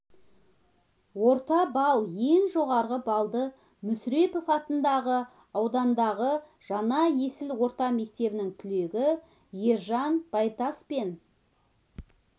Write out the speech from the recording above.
орта балл ең жоғары балды мүсірепов атындағы аудандағы жаңа есіл орта мектебінің түлегі ержан байтас пен